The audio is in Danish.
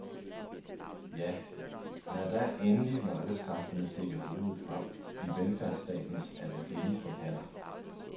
Ja, lad da endelig markedskræfterne stikke hovedet frem i velfærdsstatens allerhelligste haller.